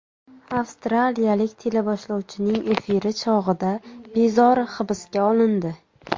Avstraliyalik teleboshlovchining efiri chog‘ida bezori hibsga olindi .